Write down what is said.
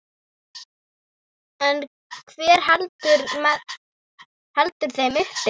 En hver heldur þeim uppi?